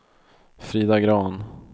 Frida Grahn